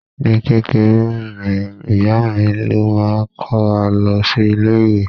Ní kékeré mi, ìyá mi ló máa ń kó wa lọ sí ilé-ìwé.